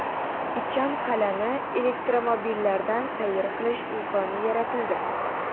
Ichan qal’ani elektromobillarda sayr qilish imkoniyati yaratildi.